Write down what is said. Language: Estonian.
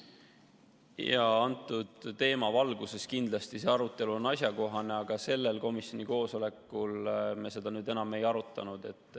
Jaa, antud teema valguses kindlasti on see arutelu asjakohane, aga sellel komisjoni koosolekul me seda enam ei arutanud.